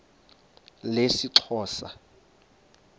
lesixhosa